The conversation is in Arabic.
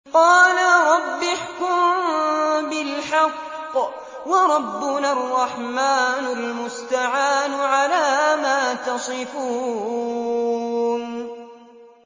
قَالَ رَبِّ احْكُم بِالْحَقِّ ۗ وَرَبُّنَا الرَّحْمَٰنُ الْمُسْتَعَانُ عَلَىٰ مَا تَصِفُونَ